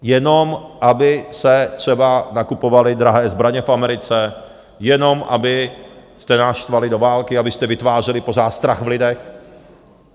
Jenom aby se třeba nakupovaly drahé zbraně v Americe, jenom abyste nás štvali do války, abyste vytvářeli pořád strach v lidech.